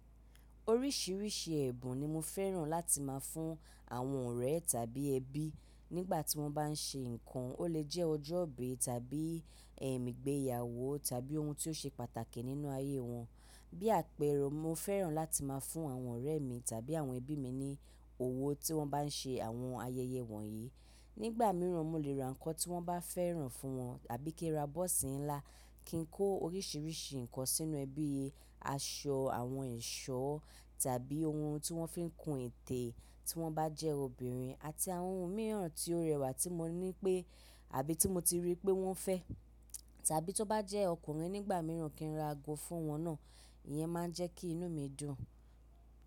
Oríṣiríṣi ẹ̀bùn ni mo fẹ́ràn láti máa fún àwọn ọ̀rẹ́ tàbí ẹbí nígbà tí wọ́n bá n ṣe nǹkan. Ó lè jẹ́ ọjọ́ ìbí tàbí ẹ̀m ìgbéyàwó tàbí ohun tí ó ṣe pàtàkì nínú ayé wọn. Bí àpẹẹrẹ, mo fẹ́ràn láti máa fún àwọn ọ̀rẹ́ mi tàbí àwọn ẹbí mi ní òwò tí wọ́n bá n ṣe àwọn ayẹyẹ wọ̀nyí. Nígbà míràn mo lè ra nǹkan tí wọ́n bá fẹ́ràn fún wọn. A bí kí n ra bọ́ọ̀sì ńlá kí n kó oríṣiríṣi nǹkan sínú ẹ bíi aṣọ, àwọn ẹ̀ṣọ́ tàbí ohun tí wọ́n fi n kún ètè tí wọ́n bá jẹ́ obìnrin àti àwọn ohun mìíràn tí ó rẹwà tí mo ní pé àbí tí mo ti rí pé wọ́n fẹ́. Tàbí tó bá jẹ́ ọkùnrin nígbà míràn kí n ra ago fún wọn náà. Ìyẹn máa ń jẹ́ kí inú mi dùn.